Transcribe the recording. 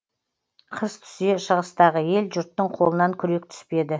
қыс түсе шығыстағы ел жұрттың қолынан күрек түспеді